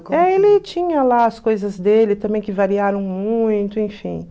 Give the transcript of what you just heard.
É, ele tinha lá as coisas dele também que variaram muito, enfim.